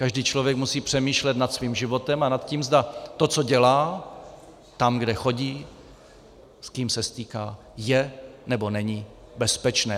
Každý člověk musí přemýšlet nad svým životem a nad tím, zda to, co dělá, tam, kde chodí, s kým se stýká, je nebo není bezpečné.